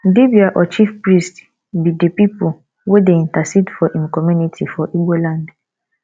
dibia or chief priest be de people wey dey intercede for for im community for igbo land